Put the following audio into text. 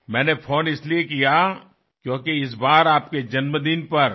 मी phone केला कारण यावर्षी तुमच्या वाढदिवशी